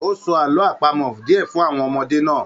O sọ àwọn àlọ apamọ diẹ fún àwọn ọmọdé náà.